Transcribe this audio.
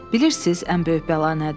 Bilirsiniz, ən böyük bəla nədir?